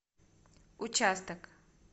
участок